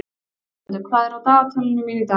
Þormundur, hvað er á dagatalinu mínu í dag?